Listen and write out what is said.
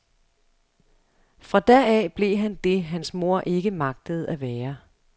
Fra da af blev han det, hans mor ikke magtede at være.